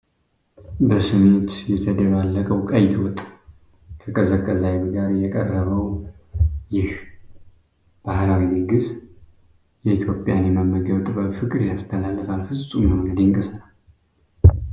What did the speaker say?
በስሜት የተደባለቀው ቀይ ወጥ፣ ከቀዘቀዘ አይብ ጋር የቀረበው! ይህ ባህላዊ ድግስ የኢትዮጵያን የመመገብ ጥበብ ፍቅር ያስተላልፋል። ፍጹም የሆነ ድንቅ ሥራ!